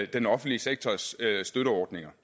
den offentlige sektors støtteordninger